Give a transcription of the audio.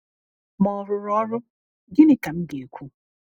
Ma ọ rụrụ ọrụ, gịnị ka m ga-ekwu?